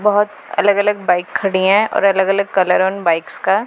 बहोत अलग अलग बाइक खड़ी हैं और अलग अलग कलर उन उन बाईक्स का।